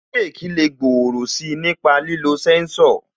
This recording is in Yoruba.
Bireki lè gbòòrò si nípa lílo sẹ́ńsọ̀